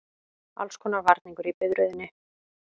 Allskonar varningur í biðröðinni.